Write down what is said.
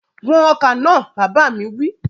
Wọn ọkà náà! Bàbá mi wí.